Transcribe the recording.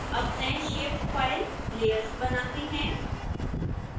अब नए shape file layers बनाते हैं